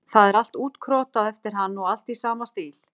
Það er allt útkrotað eftir hann og allt í sama stíl.